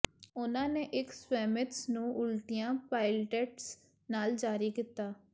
ਉਨ੍ਹਾਂ ਨੇ ਇੱਕ ਸਵੈਮਿਟਸ ਨੂੰ ਉਲਟੀਆਂ ਪਾਇਲਟੈਟਸ ਨਾਲ ਜਾਰੀ ਕੀਤਾ